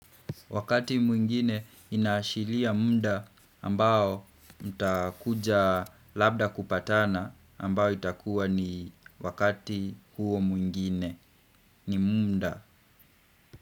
Wakati mwingine inaashiria muda ambao utakuja labda kupatana ambao itakuwa ni wakati huo mwingine ni muda.